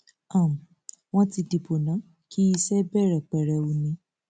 um wọn ti dìbò náà kí iṣẹ bẹrẹ pẹrẹwu ni